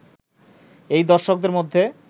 এই দর্শকদের মধ্যে